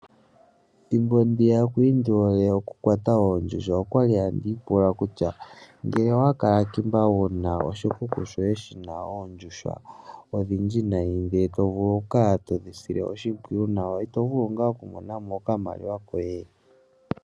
Ethimbo ndi ya nda li ha ndi kwata oondjuhwa okwa li handi ipula kutya; ngele onda kala ndi na oshikuku shandje shoondjuhwa odhindji, tandi dhi sile oshimpwiyu, otandi vulu okumona mo oshimaliwa.